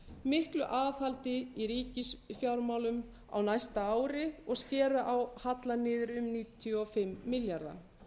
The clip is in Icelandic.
miklu aðhaldi í ríkisfjármálum á næsta ári og skera á hallann niður um níutíu og fimm milljarða